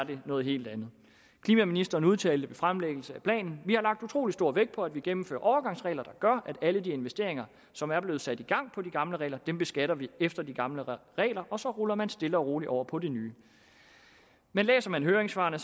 det noget helt andet klimaministeren udtalte ved fremlæggelse af planen vi har lagt utrolig stor vægt på at vi gennemfører overgangsregler der gør at alle de investeringer som er blevet sat i gang på de gamle regler beskatter vi efter de gamle regler og så ruller man stille og roligt over på de nye men læser man høringssvarene